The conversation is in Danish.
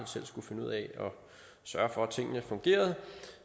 selv skulle finde ud af at sørge for at tingene fungerede